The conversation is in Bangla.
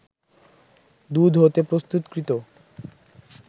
দুধ হতে প্রস্তুতকৃত